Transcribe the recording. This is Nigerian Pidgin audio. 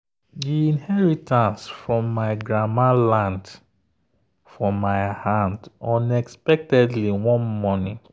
the inheritance from my grandma land for my hand unexpectedly one morning.